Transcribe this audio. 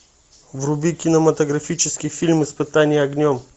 вруби кинематографический фильм испытание огнем